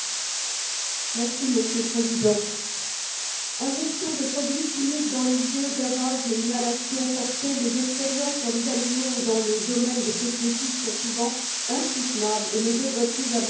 Monsieur le Président, injections de produits chimiques dans les yeux, gavages et inhalations forcés, les expériences sur les animaux dans le domaine des cosmétiques sont souvent insoutenables et ne devraient plus avoir cours aujourd'hui.